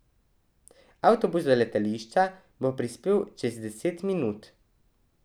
Avtobus do letališča bo prispel čez deset minut.